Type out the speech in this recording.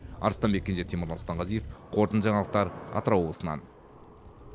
арыстанбек кенже темірлан сұлтанғазиев қорытынды жаңалықтар атырау облысынан